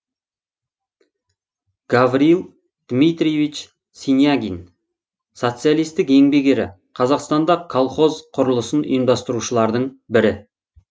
гавриил дмитриевич синягин социалистік еңбек ері қазақстанда колхоз құрылысын ұйымдастырушылардың бірі